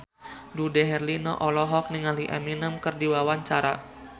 Dude Herlino olohok ningali Eminem keur diwawancara